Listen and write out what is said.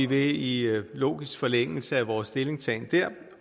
vil i logisk forlængelse af vores stillingtagen da